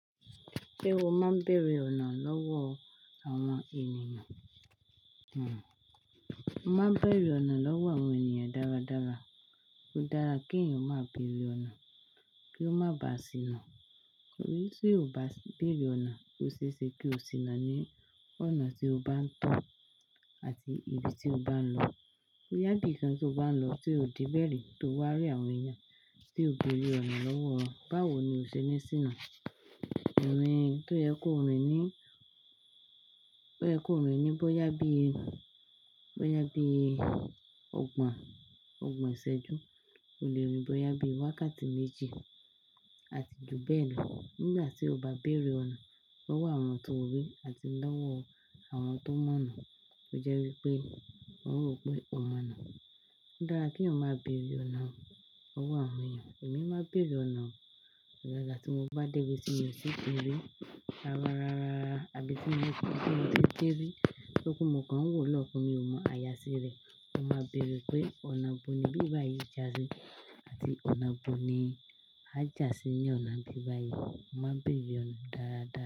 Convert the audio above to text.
Ṣé o máa ń bèrè ọ̀nà lọ́wọ́ àwọn ènìyàn? Hhm. Mo máa ń béèrè ọ̀nà lọ́wọ́ àwọn ènìyàn dáradára. Ó dára kí èèyàn máa béèrè ọ̀nà kí ó má ba à sìnà. Tori bí ò bá bèrè ọ̀nà, ò ṣe é ṣe kí o sìnà ní ọ̀nà tí o bá ń tọ̀ àti ibi tí o bá ń lọ. Bóyá ibíkan tí o bá ń lọ tí ò de bẹ̀ ri tó wá rí àwọn èèyàn tí o béèrè ọ̀nà lọ́wọ́ wọ́n, báwo ni o ṣe ni sìnà. Irin tó yẹ kó rìn ní, tó yẹ kó rìn ní bóyá bí, bóyá bí ọgbọ̀n, ọgbọ̀n ìṣẹ́jú, o lè rìn bóyá bí wákàtí méjì àti ju bẹ́ẹ̀ lọ. Nígbà tí o bá bèrè ọ̀nà lọ́wọ́ àwọn tó rí àti lọ́wọ́ àwọn tó mọ̀ ọ̀nà, ó jẹ́ wí pé wọ́n ó n rò pé o mọ̀ ọ̀nà. O da ki eyan ma bere ona lọwọ awọn eeyan ẹ̀mí máa ń bèrè ọ̀nà daadaa tí mo bá dé ibi tí mi ò tí ì de rí ara rárá àbí tí mo bá dé ibi tí ó dé ri tó je pe mo kàn ń wò lọ́okan mi ò mọ̀ àyà sí rẹ̀. Mo máa ń bèrè pé "ọ̀nà bo nibíi báyìí jásí?" àti "ọ̀nà bo ni á jásí ní ọ̀nà bíi báyìí?" Mo máa ń bèrè ọ̀nà dáradára.